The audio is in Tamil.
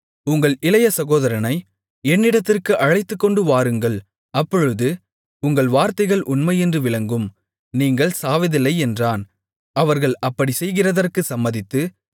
உங்கள் இளைய சகோதரனை என்னிடத்திற்கு அழைத்துக்கொண்டு வாருங்கள் அப்பொழுது உங்கள் வார்த்தைகள் உண்மையென்று விளங்கும் நீங்கள் சாவதில்லை என்றான் அவர்கள் அப்படிச்செய்கிறதற்குச் சம்மதித்து